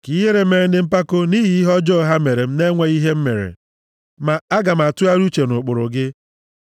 Ka ihere mee ndị mpako nʼihi ihe ọjọọ ha mere m na-enweghị ihe m mere; ma aga m atụgharị uche nʼụkpụrụ gị.